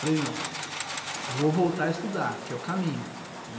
Falei, não, vou voltar a estudar, que é o caminho, né?